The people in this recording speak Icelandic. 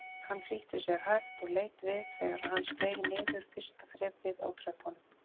Hann flýtti sér hægt og leit við þegar hann steig niður fyrsta þrepið á tröppunum.